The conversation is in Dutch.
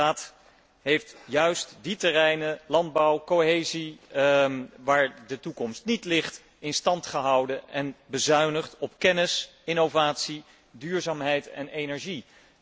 De Raad heeft juist die terreinen landbouw, cohesie waar de toekomst niet ligt in stand gehouden en bezuinigt op kennis, innovatie, duurzaamheid en energie.